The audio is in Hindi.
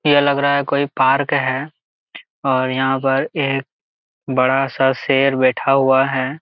यहाँ लग रहा है कोई पार्क है और यहां पर एक बड़ा सा शेर बैठा हुआ है।